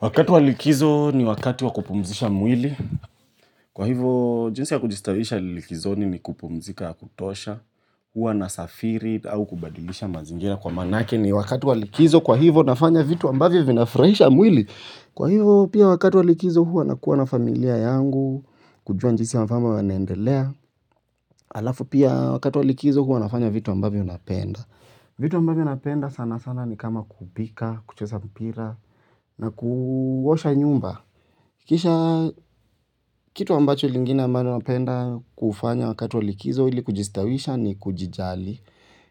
Wakati wa likizo, ni wakati wa kupumzisha mwili. Kwa hivo, jinsi ya kujistawisha likizoni ni kupumzika ya kutosha, huwa nasafiri au kubadilisha mazingira kwa manake ni wakati wa likizo. Kwa hivo, nafanya vitu ambavyo vinafurahisha mwili. Kwa hivo, pia wakati wa likizo huwa nakuwa na familia yangu, kujua jinsi wa famba wanaendelea. Alafu, pia wakati wa likizo huwa nafanya vitu ambavyo napenda. Vitu ambavyo napenda sana sana ni kama kupika, kucheza mpira, na kuosha nyumba. Kisha, kitu ambacho lingine ambalo napenda kufanya wakati wa likizo ili kujistawisha ni kujijali.